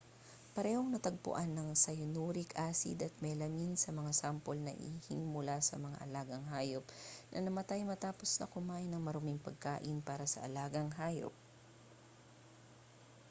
parehong natagpuan ang cyanuric acid at melamine sa mga sample na ihing mula sa mga alagang hayop na namatay matapos na kumain ng maruming pagkain para sa alagang hayop